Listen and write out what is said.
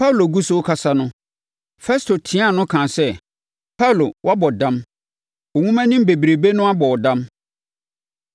Paulo gu so rekasa no, Festo tiaa no kaa sɛ, “Paulo, woabɔ dam. Wo nwomanim bebrebe no abɔ wo dam.”